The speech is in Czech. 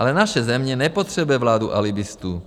Ale naše země nepotřebuje vládu alibistů.